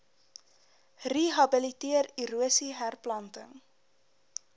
rehabiliteer erosie herplanting